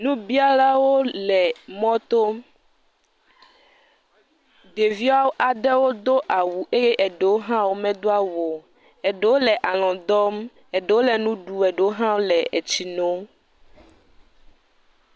Nubialwo le mɔto, ɖevia ɖewo do awu, eye eɖewo hã womedo awu o, eɖewo le alɔ dɔm, eɖewo le nu ɖum, eɖewo hã wole etsi num.